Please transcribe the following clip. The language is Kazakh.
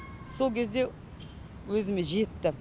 сол кезде өзіме жетті